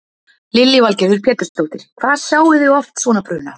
Lillý Valgerður Pétursdóttir: Hvað sjáið þið oft svona bruna?